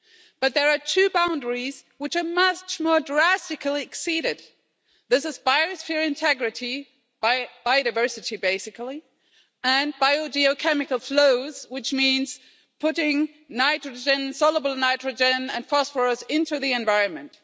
But there are two boundaries which are much more drastically exceeded this is biosphere integrity biodiversity basically and biogeochemical flows, which means putting nitrogen, soluble nitrogen and phosphorous into the environment.